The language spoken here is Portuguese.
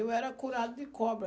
Eu era curado de cobra.